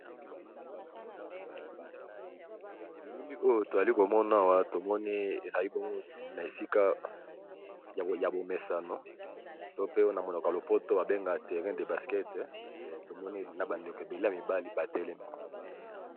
Elili oyo tozali ko mona awa to moni ezali bongo na esika ya bo mesano to pena monoko lopoto ba benga terrain de basket, to moni na ba ndeko ébélé ya mibali ba telemi .